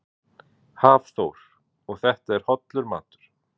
Hafþór: Og þetta er hollur matur?